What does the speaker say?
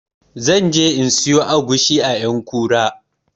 Zan je in siyo agushi a ƴankura